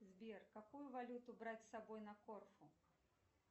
сбер какую валюту брать с собой на корфу